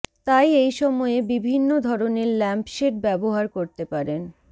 তাই এই সময়ে বিভিন্ন ধরণের ল্যাম্পশেড ব্যবহার করতে পারেন